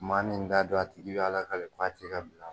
Maa min t'a dɔn a tigi bɛ ala ka le ka bila